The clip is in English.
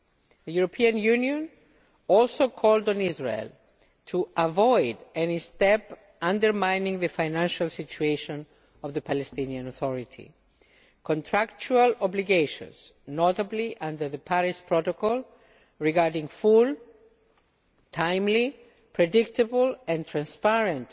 The European Union also called on Israel to avoid any action which would undermine the financial situation of the Palestinian Authority. Contractual obligations notably under the Paris Protocol regarding the full, timely, predictable and transparent